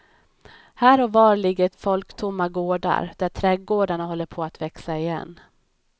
Här och var ligger folktomma gårdar där trädgårdarna håller på att växa igen.